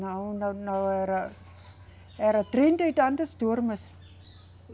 Não, não, não, era. Era trinta e tantas turmas.